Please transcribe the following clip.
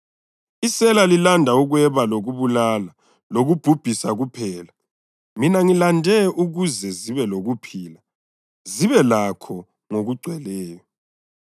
Isela lilanda ukweba lokubulala lokubhubhisa kuphela; mina ngilande ukuze zibe lokuphila, zibe lakho ngokugcweleyo.